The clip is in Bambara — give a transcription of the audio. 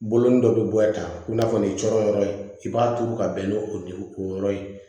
Bolonin dɔ bɛ bɔ ta i n'a fɔ nin cɔrɔn yɔrɔ in i b'a turu ka bɛn ni o dugu o yɔrɔ ye